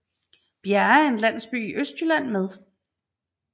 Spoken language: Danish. Bjerre er en landsby i Østjylland med